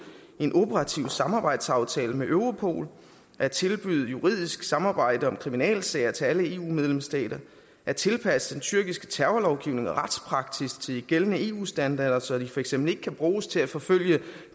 en operativ samarbejdsaftale med europol at tilbyde juridisk samarbejde om kriminalsager til alle eu medlemsstater at tilpasse den tyrkiske terrorlovgivning og retspraksis til de gældende eu standarder så de for eksempel ikke kan bruges til at forfølge